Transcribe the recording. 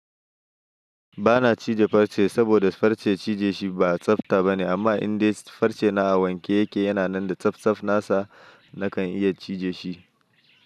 Bana cije farce saboda farce cije shi ba tsafta bane amma indai farce na a wanke yake yana nan da tsaf tsaf nasa nakan iya cije shi.